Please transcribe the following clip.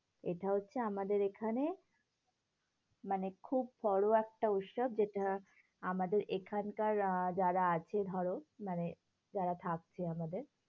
এটা হচ্ছে আমাদের এখানে, মানে খুব বড়ো একটা উৎসব। যেটা আমাদের এখানকার আহ যারা আছে ধরো, মানে যারা থাকছে আমাদের